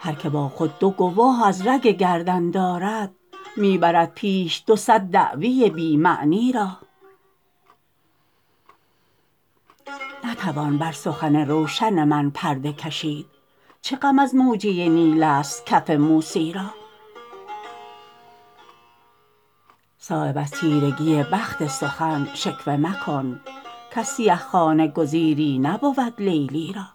هر که با خود دو گواه از رگ گردن دارد می برد پیش دو صد دعوی بی معنی را نتوان بر سخن روشن من پرده کشید چه غم از موجه نیل است کف موسی را صایب از تیرگی بخت سخن شکوه مکن کز سیه خانه گزیری نبود لیلی را